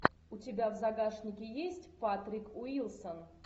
у тебя в загашнике есть патрик уилсон